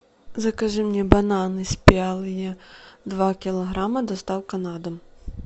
закажи мне бананы спелые два килограмма доставка на дом